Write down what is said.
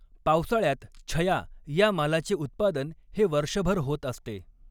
पावसाळ्यात छया या मालाचे उत्पादन हे वर्षभर होत असते.